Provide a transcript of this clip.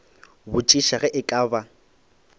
botšiša ge e ka ba